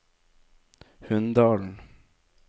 Hunndalen